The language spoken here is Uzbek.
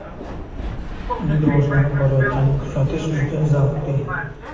Uning rivojlanib borayotganini kuzatish juda zavqli.